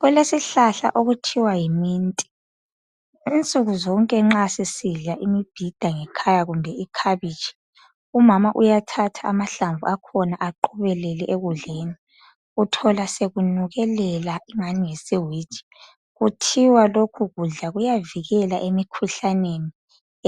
kulesihlahla okuthiwa yi mint insuku zonke nxa sisidla imibhida ngekhaya kumbe ikhabitshi umama uyathatha amahlamvu akhona aqobelele ekudleni uyathola sekunukelela engani yisiwiji kuthiwa lokhu kudla kuyavikela emikhuhlaneni